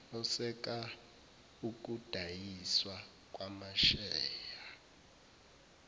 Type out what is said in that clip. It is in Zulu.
oseka ukudayiswa kwamasheya